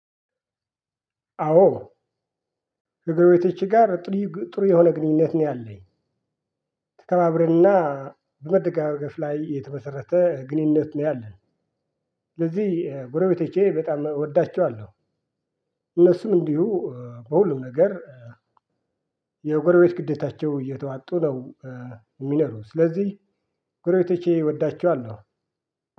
አዎ ከጎረቤቶቼ ጋር ጥሩ ጥሩ የሆነ ግንኙነት ነው ያለኝ። ተከባብረንና በመደጋገፍ ላይ የተመሰረተ ግንኙነት ነው ያለን። ስለዚህ ጎረቤቶቼ በጣም እወዳቿዋለው። እነሱም እንዲሁ በሁሉም ነገር የጎረቤት ግዴታቸው እየተዋጡ ነው የሚኖሩት ስለዚህ ጎረቤቶቼ እወዳቸዋለሁ።